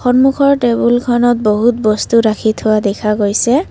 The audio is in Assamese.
সন্মুখৰ টেবুলখনত বহুতো বস্তু ৰাখি থোৱা দেখা গৈছে।